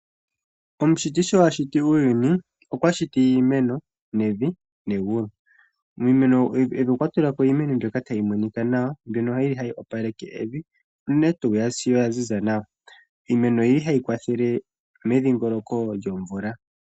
Omushiti sho ashiti uuyuni okwa shiti iimeno, evi negulu. Pevi okwa tulapo iimeno mbyoka tayi monika nawa, mbyono yili hayi opaleke evi, unene tuu ngele ya ziza nawa. Iimeno oyili hayi kwathele medhiingoloko lyomvula.